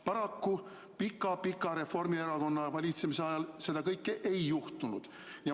Paraku, pika-pika Reformierakonna valitsemise ajal seda kõike ei juhtunud.